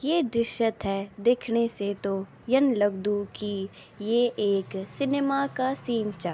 ये दृश्य थें देखण से तो म यं लगदु की ये एक सिनेमा का सीन चा।